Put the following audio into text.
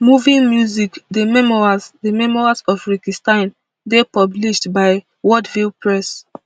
moving music the memoirs the memoirs of rikki stein dey published by wordville press